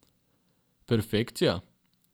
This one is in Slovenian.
Perfekcija?